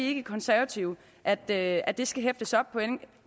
ikke i konservative at det at det skal hæftes op